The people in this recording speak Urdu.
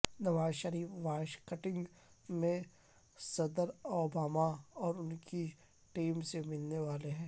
نواز شریف واشنگٹن میں صدر اوباما اور ان کی ٹیم سے ملنے والے ہیں